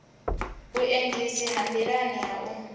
vhuendisi ha nḓilani ha u